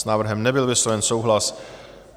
S návrhem nebyl vysloven souhlas.